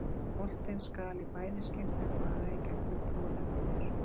Boltinn skal í bæði skiptin fara í gegnum klofið á þér.